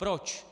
Proč?